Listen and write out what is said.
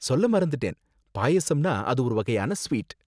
சொல்ல மறந்துட்டேன், பாயாசம்னா அது ஒரு வகையான ஸ்வீட்.